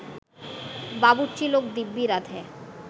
বাবুরচি লোক দিব্যি রাঁধে